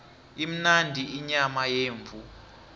imnandi inyama yemvu